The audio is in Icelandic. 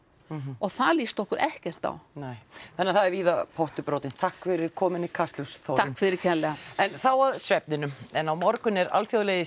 og það lýst okkur ekkert á nei þannig að það er víða pottur brotinn takk fyrir komuna í Kastljós Þórunn takk fyrir kærlega en þá að svefninum en á morgun er alþjóðlegi